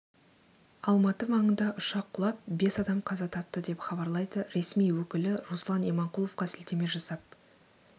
алматы маңында ұшақ құлап бес адам қаза тапты деп хабарлайды ресми өкілі руслан иманқұловқа сілтеме жасап